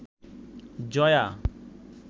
Jaya